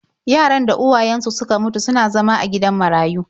Yaran da uwayensu suka mutu suna zama a gidan marayu.